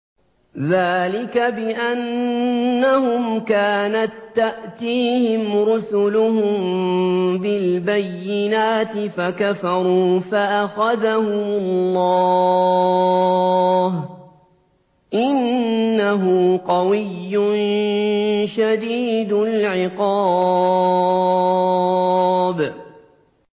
ذَٰلِكَ بِأَنَّهُمْ كَانَت تَّأْتِيهِمْ رُسُلُهُم بِالْبَيِّنَاتِ فَكَفَرُوا فَأَخَذَهُمُ اللَّهُ ۚ إِنَّهُ قَوِيٌّ شَدِيدُ الْعِقَابِ